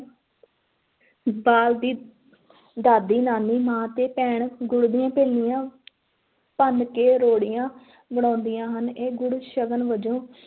ਬਾਲ ਦੀ ਦਾਦੀ, ਨਾਨੀ, ਮਾਂ ਅਤੇ ਭੈਣਾਂ, ਗੁੜ ਦੀਆਂ ਭੇਲੀਆਂ ਭੰਨ ਕੇ ਰਿਓੜੀਆਂ ਬਣਾਉਂਦੀਆਂ ਹਨ, ਇਹ ਗੁੜ ਸਗਨ ਵਜੋਂ